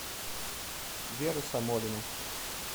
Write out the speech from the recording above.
вера самолина